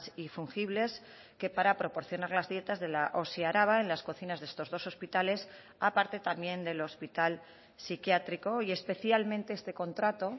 y fungibles que para proporcionar las dietas de la osi araba en las cocinas de estos dos hospitales aparte también del hospital psiquiátrico y especialmente este contrato